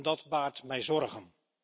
Dat baart mij zorgen.